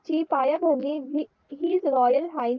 india gate ची पाय भरणी royal